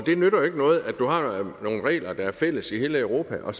det nytter jo ikke noget at du har nogle regler der er fælles i hele europa og at